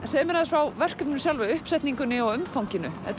segðu mér aðeins frá verkefninu sjálfu uppsetningunni og umfanginu þetta